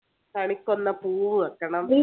കണിക്കൊന്നപൂവ് വെക്കണം